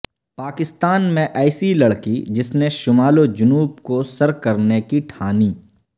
پاکستان میں ایسی لڑکی جس نے شمال و جنوب کو سر کرنے کی ٹھانی